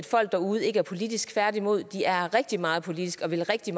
folk derude ikke er politiske tværtimod de er rigtig meget politiske og vil rigtig